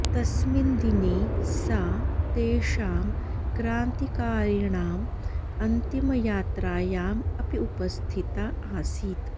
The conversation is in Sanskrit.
तस्मिन् दिने सा तेषां क्रान्तिकारिणाम् अन्तिमयात्रायाम् अपि उपस्थिता आसीत्